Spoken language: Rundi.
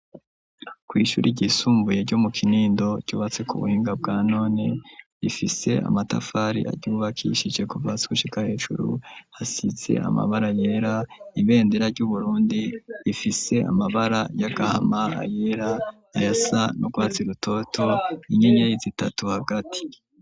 Kw'ishure ryisumbuye ryo mu Kinindo ryubatse ku buhinga bwa none, rifise amatafari aryubakishije kuva hasi gushika hejuru, hasize amabara yera, ibendera ry'Uburundi rifise amabara y'agahama, ayera ayasa n'urwatsi rutoto, inyenyeri zitatu hagati.